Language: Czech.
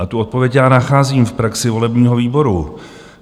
A tu odpověď já nacházím v praxi volebního výboru.